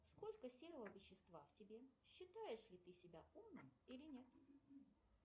сколько серого вещества в тебе считаешь ли ты себя умным или нет